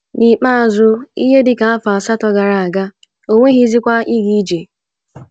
N’ikpeazụ, ihe dị ka afọ asatọ gara aga, o nweghịzi ike ịga ije.